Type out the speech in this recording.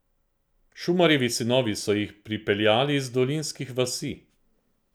Šumarjevi sinovi so si jih pripeljali iz dolinskih vasi.